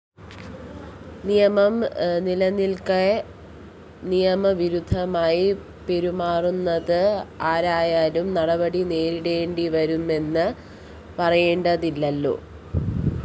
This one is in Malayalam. നിയമം നിലനില്‍ക്കെ നിയമവിരുദ്ധമായി പെരുമാറുന്നത് ആരായാലും നടപടി നേരിടേണ്ടിവരുമെന്ന് പറയേണ്ടതില്ലല്ലോ